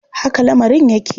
Haka lamarin yake.